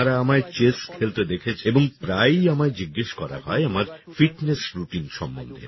আপনারা আমায় চেস খেলতে দেখেছেন এবং প্রায়ই আমায় জিজ্ঞেস করা হয় আমার ফিটনেস রুটিন সম্বন্ধে